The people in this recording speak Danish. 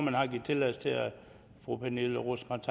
har givet tilladelse til at fru pernille rosenkrantz